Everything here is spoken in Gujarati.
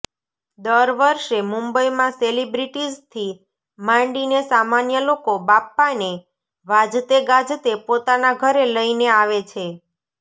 દર વર્ષે મુંબઈમાં સેલિબ્રિટીઝથી માંડીને સામાન્ય લોકો બાપ્પાને વાજતેગાજતે પોતાના ઘરે લઈને આવે છે